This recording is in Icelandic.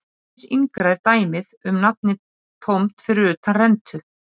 Aðeins yngra er dæmið um nafnið tómt fyrir utan rentu.